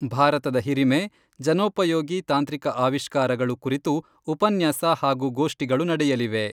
ಭಾರತದ ಹಿರಿಮೆ ', 'ಜನೋಪಯೋಗಿ ತಾಂತ್ರಿಕ ಆವಿಷ್ಕಾರಗಳು, ಕುರಿತು ಉಪನ್ಯಾಸ ಹಾಗೂ ಗೋಷ್ಟಿಗಳು ನಡೆಯಲಿವೆ.